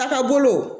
A ka bolo